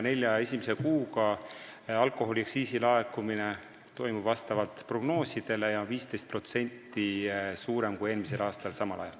Nelja esimese kuuga on alkoholiaktsiisi laekunud vastavalt prognoosidele ja 15% rohkem kui eelmisel aastal samal ajal.